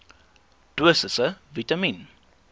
dosisse vitamien